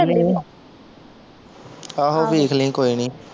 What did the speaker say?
ਆਹੋ ਵੇਖ ਲਈਂ ਕੋਈ ਨਹੀਂ